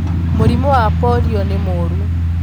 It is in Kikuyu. Mũrimũ wa polio nĩmũru.